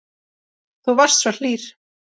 Þú varst svo hlýr.